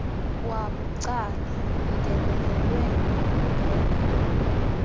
wabucala ungenelelwe ngokungekho